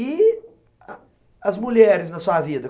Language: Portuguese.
E a as mulheres na sua vida?